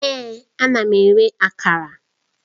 Èè! Ana m ere Akara